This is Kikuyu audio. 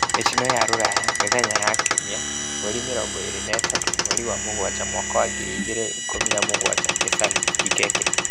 Mĩtino ya Rũraya Mĩthenya ya Kiumia 23.07.2017 nĩ Salim Kikeke